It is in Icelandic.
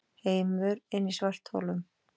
Heimur inni í svartholum